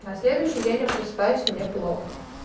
на следующий день я просыпаюсь мне плохо